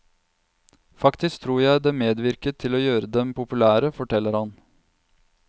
Faktisk tror jeg det medvirket til å gjøre dem populære, forteller han.